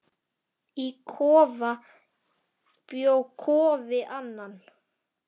Í kofa bjó Kofi Annan.